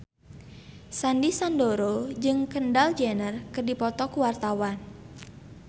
Sandy Sandoro jeung Kendall Jenner keur dipoto ku wartawan